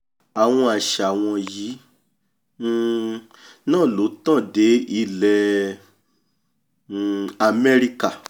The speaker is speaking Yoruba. àwọn àṣà wọ̀nyí um náà ló tàn dé ilẹ̀ um amẹ́ríkà